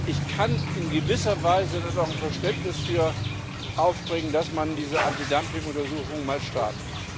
Ich kann in gewisser Weise auch Verständnis dafür aufbringen, dass man diese Antidumping Untersuchung mal startet.